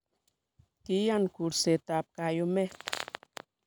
kiiyan kursetab kayumet